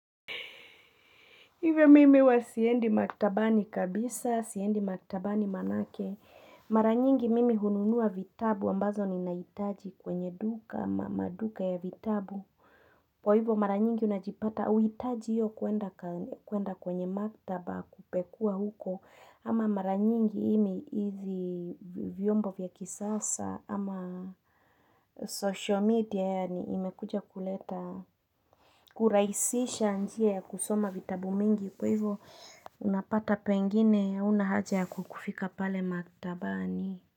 Hivyo mimi huwa siendi maktabani kabisa, siendi maktabani manake Mara nyingi mimi hununua vitabu ambazo ninahitaji kwenye duka, ma maduka ya vitabu. Kwa hivyo mara nyingi unajipata, huhitaji hiyo kwenda ka kwenda kwenye maktaba kupekua huko ama mara nyingi imi hizi vyombo vya kisasa ama social media yani imekuja kuleta, kurahisisha njia ya kusoma vitabu mingi. Kwa hivyo unapata pengine huna haja ya kukufika pale maktabani.